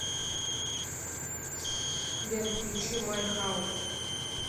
сбер включи май хаус